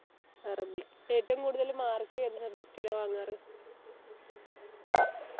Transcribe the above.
അറബി ഏറ്റവും കൂടുതൽ mark ഏത് subject ലാ വാങ്ങാറ്